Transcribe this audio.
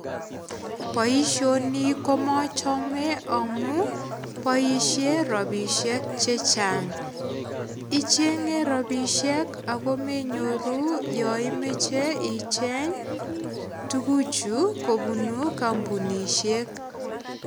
Boisioni komachame amu boisie rapisiek che chang. Ichenge rapisiek ago menyoru yoimeche icheng tuguchu kobunu kambunisiek.